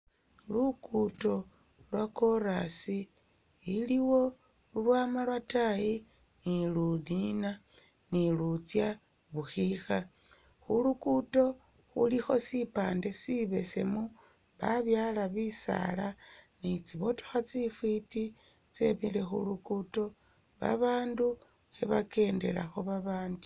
Lugudo lwa corasi iliwo ulwama lwataayi ni luniina no lutsya bukhikha, khulugudo khulikho sipande si besemu babyala bi saala ni tsi motokha tsi fiti tsemile khulugudo ba bandu khebakendelakho ba bandi.